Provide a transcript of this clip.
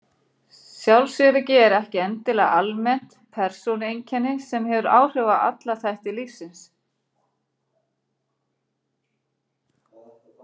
Sjálfsöryggi er ekki endilega almennt persónueinkenni sem hefur áhrif á alla þætti lífsins.